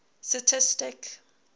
statistic